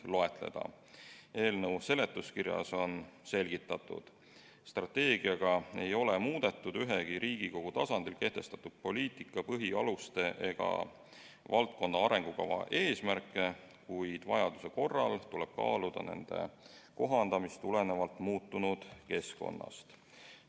Eelnõu seletuskirjas on selgitatud, et strateegiaga ei ole muudetud ühegi Riigikogu tasandil kehtestatud poliitika põhialuse ega valdkonna arengukava eesmärke, kuid vajaduse korral tuleb kaaluda nende kohandamist vastavalt muutunud keskkonnale.